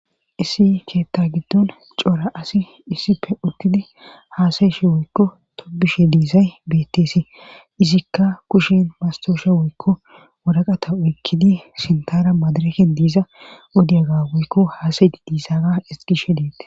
Issi keetta giddon coora asi issipe utidi haasayshi woykko topbishe diizay betteesi izikka kushen mastoosha woykko waraqata uykkidi sintara madaraken diiza udiyaga woykko haasayi diisaaga isgishe deette